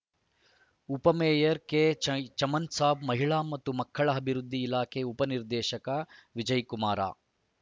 ಉಪ ಮೇಯರ್‌ ಕೆಚಮನ್‌ ಸಾಬ್‌ ಮಹಿಳಾ ಮತ್ತು ಮಕ್ಕಳ ಅಭಿವೃದ್ಧಿ ಇಲಾಖೆ ಉಪ ನಿರ್ದೇಶಕ ವಿಜಯಕುಮಾರ